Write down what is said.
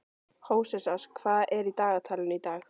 Hóseas, hvað er í dagatalinu í dag?